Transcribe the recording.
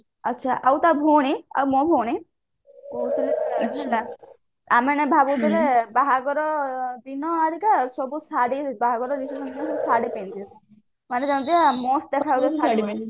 ଆଉ ତା ଭଉଣୀ ମୋ ଭଉଣୀ ଆମେ ଏନା ଭାବୁଥିଲେ ବାହାଘର ଦିନ ଅଲଗା ସବୁ ଶାଢୀ ବାହାଘର reception ଦିନ ସବୁ ଶାଢୀ ପିନ୍ଧିବେ ମାନେ ଯେମିତିକା must ଦେଖା ଯାଉଥିବ ଶାଢୀ ପିନ୍ଧିଲେ